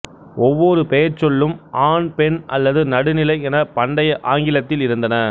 ஒவ்வொரு பெயர்ச்சொல்லும் ஆண் பெண் அல்லது நடுநிலை எனப் பண்டைய ஆங்கிலத்தில் இருந்தன